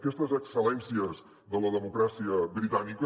aquestes excel·lències de la democràcia britànica